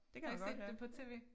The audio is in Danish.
Har ikke set det på TV